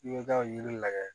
I bɛ taa yiri lajɛ